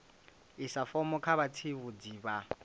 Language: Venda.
isa fomo kha vhatsivhudzi vha